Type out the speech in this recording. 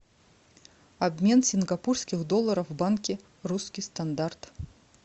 обмен сингапурских долларов в банке русский стандарт